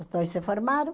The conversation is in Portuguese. Os dois se formaram.